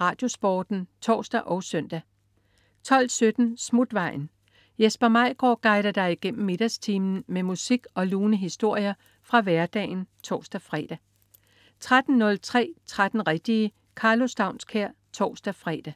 RadioSporten (tors og søn) 12.17 Smutvejen. Jesper Maigaard guider dig igennem middagstimen med musik og lune historier fra hverdagen (tors-fre) 13.03 13 rigtige. Karlo Staunskær (tors-fre)